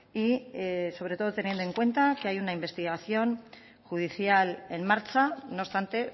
y sobre todo teniendo en cuenta que hay una investigación judicial en marcha no obstante